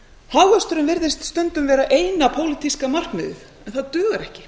hagvöxturinn virðist stundum vera eina pólitíska markmiðið en það dugar ekki